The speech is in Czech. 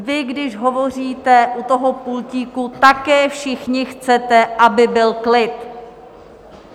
Vy když hovoříte u toho pultíku, také všichni chcete, aby byl klid...